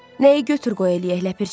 Nəyi götür-qoy eləyək, Ləpirçi?